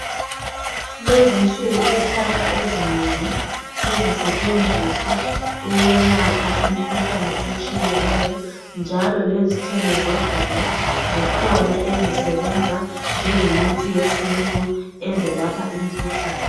Lezi nsuku izihlahla ezinengi sezisetshenziswa ukwelapha imkhuhlane etshiyeneyo, njalo lezithelo zeganga zikhona ezisebenza njengemithi yesintu ezilapha imkhuhlane.